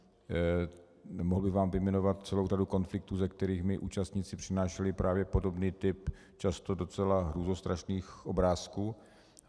Mohl bych vám vyjmenovat celou řadu konfliktů, ze kterých mi účastníci přinášeli právě podobný typ často docela hrůzostrašných obrázků.